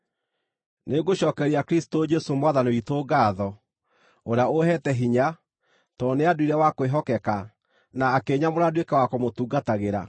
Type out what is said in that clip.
Nĩngũcookeria Kristũ Jesũ Mwathani witũ ngaatho, ũrĩa ũheete hinya, tondũ nĩanduire wa kwĩhokeka, na akĩnyamũra nduĩke wa kũmũtungatagĩra.